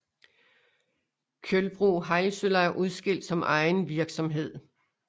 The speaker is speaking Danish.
Kjølbro Heilsøla udskilt som egen virksomhed